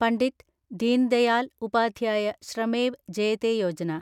Pandit Deen Dayal Upadhyaya Shramev Jayate Yojana